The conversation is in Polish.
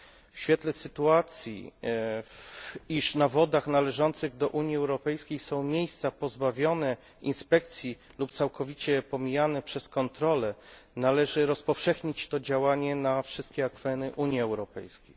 W świetle sytuacji, w której na wodach należących do Unii Europejskiej są miejsca pozbawione inspekcji lub całkowicie pomijane przez kontrole należy rozpowszechnić to działanie na wszystkie akweny Unii Europejskiej.